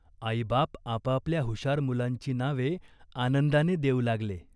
आईबाप आपापल्या हुशार मुलांची नावे आनंदाने देऊ लागले.